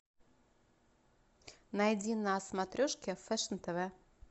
найди на смотрешке фэшн тв